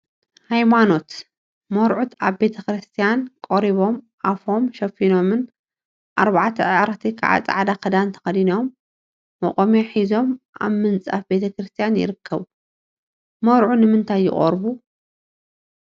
ሃይማኖት መርዑት አብ ቤተ ክርስትያን ቆሪቦም አፎም ሸፊኖምን አርባዕተ አዕርክቲ ከዓ ፃዕዳ ክዳን ተከዲኖም መቆምያ ሒዞም አብ ምንፃፍ ቤተ ክርስትያን ይርከቡ፡፡ መርዑ ንምንታይ ይቆርቡ?